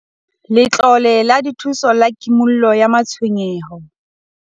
Letlole la Dithuso la Kimollo ya Matshwenyeho